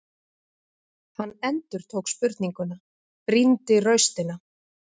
Hann endurtók spurninguna, brýndi raustina.